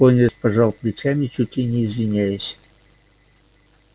пониетс пожал плечами чуть ли не извиняясь